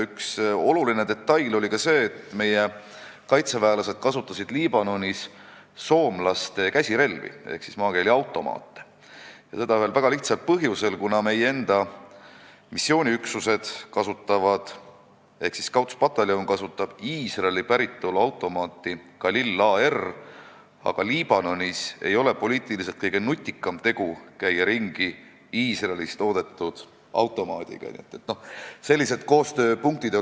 Üks oluline detail on ka see, et meie kaitseväelased kasutasid Liibanonis soomlaste käsirelvi ehk maakeeli öeldes automaate ühel väga lihtsal põhjusel: Scoutspataljon ehk meie enda missiooniüksused kasutavad Iisraeli päritolu automaate Galil AR, aga Liibanonis ei ole Iisraelis toodetud automaatidega ringikäimine poliitiliselt kõige nutikam tegu.